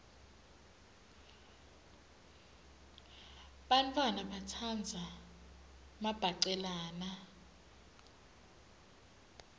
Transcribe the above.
bantfwana batsandza mabhacelana